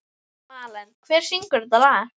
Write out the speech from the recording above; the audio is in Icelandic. Malen, hver syngur þetta lag?